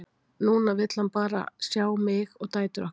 Núna vill hann bara sjá mig og dætur okkar.